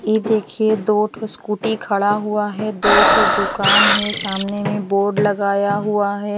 ये देखिए दो ठो स्कूटी खड़ा हुआ है दो ठो दुकान है सामने में बोर्ड लगाया हुआ है।